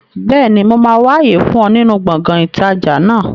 Bẹ́ẹ̀ni, mo máa wà àyè fún ọ nínú gbọ̀ngàn ìtajà náà